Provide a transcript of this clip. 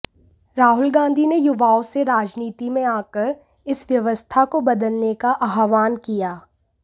राहुल गांधी ने युवाओं से राजनीति में आकर इस व्यवस्था को बदलने का आह्वान किया